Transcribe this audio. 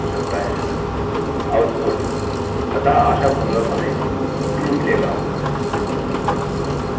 output अतः आशापूर्वक हमें true मिलेगा